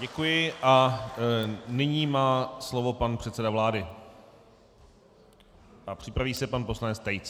Děkuji a nyní má slovo pan předseda vlády a připraví se pan poslanec Tejc.